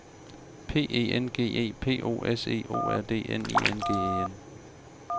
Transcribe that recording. P E N G E P O S E O R D N I N G E N